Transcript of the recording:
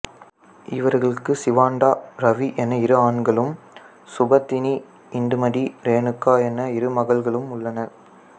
இவர்களுக்கு சிவாந்தா ரவி என இரு ஆண்களும் சுபோதினி இந்திமதி ரேணுகா என இரு மகள்களும் உள்ளனர்